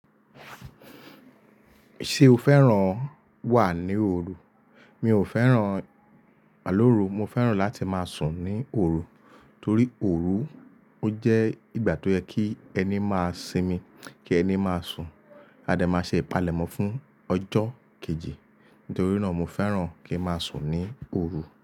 Ṣé o fẹ́ràn wà ní òru? Mi ò fẹ́ràn àlóru, mo fẹ́ràn láti máa sùn ní òru. Torí òru ó jẹ́ ìgbà tó yẹ kí ẹni máa sinmi, kí ẹni máa sùn. A dẹ máa ṣe ìpalẹ̀mọ́ fún ọjọ́ kejì. Nítorí náà mo féràn kí má sùn ní òru.